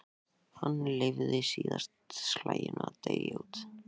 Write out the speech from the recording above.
Hann leyfði síðasta slaginu að deyja út.